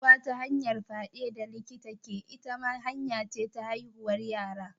Haihuwa ta hanyar fiɗa da likita ke, ita ma hanya ce ta haihuwar yara.